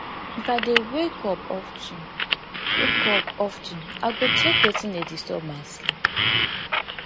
if i dey wake up of ten wake up of ten i go check wetin dey disturb my sleep